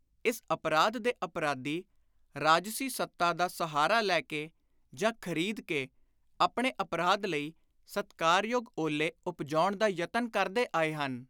ਇਸ ਅਪਰਾਧ ਦੇ ਅਪਰਾਧੀ, ਰਾਜਸੀ ਸੱਤਾ ਦਾ ਸਹਾਰਾ ਲੈ ਕੇ ਜਾਂ ਖ਼ਰੀਦ ਕੇ, ਆਪਣੇ ਅਪਰਾਧ ਲਈ ਸਤਿਕਾਰਯੋਗ ਓਹਲੇ ਉਪਜਾਉਣ ਦਾ ਯਤਨ ਕਰਦੇ ਆਏ ਹਨ।